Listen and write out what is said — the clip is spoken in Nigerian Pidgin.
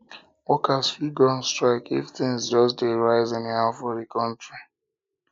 worker fit go on strike if things just de rise de rise anyhow for di counrty